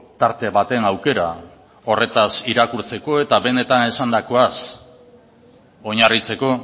tarte baten aukera horretaz irakurtzeko eta benetan esandakoaz oinarritzeko